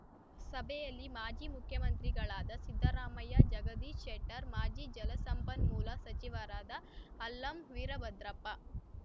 ಸಭೆಯಲ್ಲಿ ಮಾಜಿ ಮುಖ್ಯಮಂತ್ರಿಗಳಾದ ಸಿದ್ದರಾಮಯ್ಯ ಜಗದೀಶ್‌ಶೆಟ್ಟರ್‌ ಮಾಜಿ ಜಲಸಂಪನ್ಮೂಲ ಸಚಿವರಾದ ಅಲ್ಲಂ ವೀರಭದ್ರಪ್ಪ